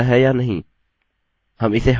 हम इसे हटा देते हैं